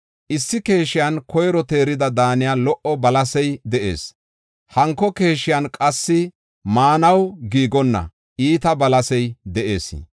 Issi keeshiyan koyro teerida daaniya lo77o balasey de7ees; hanko keeshiyan qassi maanaw giigonna iita balasey de7ees.